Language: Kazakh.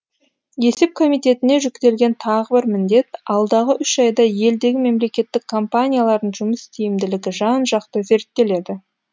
есеп комитетіне жүктелген тағы бір міндет алдағы үш айда елдегі мемлекеттік компаниялардың жұмыс тиімділігі жан жақты зерттеледі